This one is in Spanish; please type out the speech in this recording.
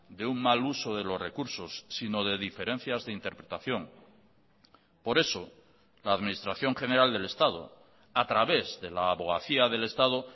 de un mal uso de los recursos sino de diferencias de interpretación por eso la administración general del estado a través de la abogacía del estado